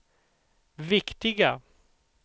viktiga